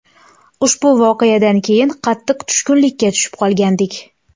Ushbu voqeadan keyin qattiq tushkunlikka tushib qolgandik.